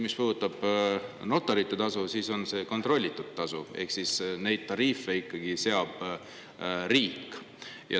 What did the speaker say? Mis puudutab notaritasu, siis see on kontrollitud tasu, ehk neid tariife seab ikkagi riik.